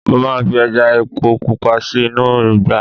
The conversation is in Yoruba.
mo ma fi eja epo pupa sí inú ugba